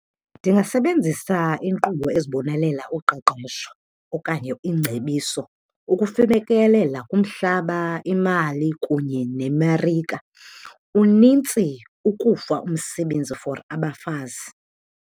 Ndingasebenzisa inkqubo ezibonelela uqeqesho okanye iingcebiso ukufikelela kumhlaba, imali kunye nemarike. Unintsi ukufa umsebenzi for abafazi.